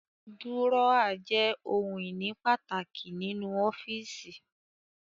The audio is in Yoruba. Dúrọ́à jẹ́ ohun-ìní pàtàkì nínú ọ́fíísì.